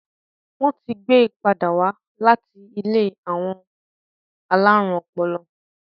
Wón tí gbé pàdà wá là tí ilé àwọn alarun ọpọlọ